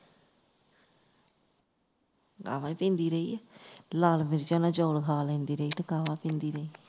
ਕਾਹਵਾ ਪੀਂਦੀ ਰਹੀ ਹੈ ਲਾਲ ਮਿਰਚਾਂ ਨਾਲ ਚੌਲ ਖਾ ਲੈਂਦੀ ਰਹੀ ਤੇ ਕਾਹਵਾ ਪੀਂਦੀ ਰਹੀ